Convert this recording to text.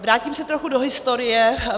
Vrátím se trochu do historie.